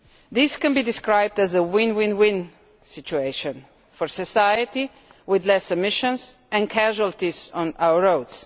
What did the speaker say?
This can be described as a win-win situation for society, with fewer emissions and casualties on our roads